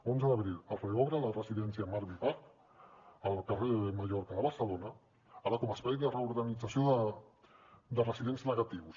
onze d’abril es reobre la residència marvi park al carrer mallorca de barcelona ara com a espai de reorganització de residents negatius